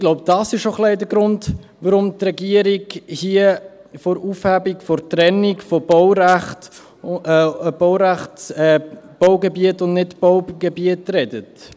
Ich glaube, dies ist ein wenig der Grund, warum die Regierung hier von der Aufhebung der Trennung zwischen Baugebiet und Nichtbaugebiet redet.